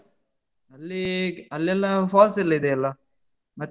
ಅಲ್ಲಿ ಅಲ್ಲೆಲ್ಲಾ falls ಲ್ಲಾ ಇದೆಯಲ್ಲ? ಮತ್ತೇ.